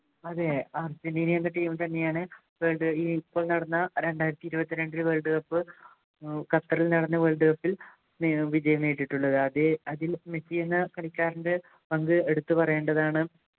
അതെ അർജൻറ്റീന എന്ന team തന്നെയാണ് ഈ ഇപ്പൊ നടന്ന രണ്ടായിരത്തി ഇരുപത്തിരണ്ടിലെ Worldcup ഏർ ഖത്തറിൽ നടന്ന Worldcup ൽ ഏർ വിജയം നേടിയിട്ടുള്ളത് അതെ അതിൽ മെസ്സി കളിക്കാരൻ്റെ പങ്ക് എടുത്തു പറയേണ്ടതാണ്